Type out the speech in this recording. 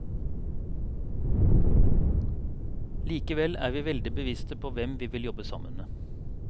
Likevel er vi veldig bevisste på hvem vi vil jobbe sammen med.